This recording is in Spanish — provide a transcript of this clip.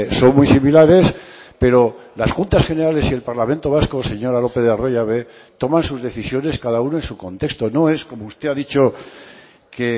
son muy similares pero las juntas generales y el parlamento vasco señora lópez de arroyabe toman sus decisiones cada uno en su contexto no es como usted ha dicho que